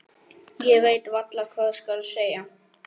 Ég veit varla hvað skal segja.